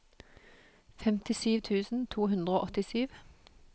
femtisju tusen to hundre og åttisju